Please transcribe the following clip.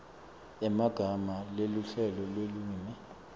emagama neluhlelo lwelulwimi